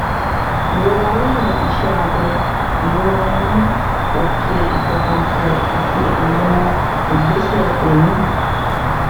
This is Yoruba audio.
ìrora lẹyìn iṣẹ abẹ ìrora inú òkè ìfọkànbalẹ àti àwọn ìgbésẹ omi